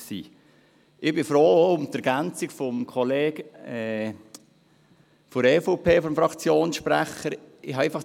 Ich bin froh um die Ergänzung des Fraktionssprechers der EVP.